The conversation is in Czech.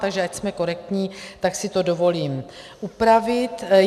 Takže ať jsme korektní, tak si to dovolím upravit.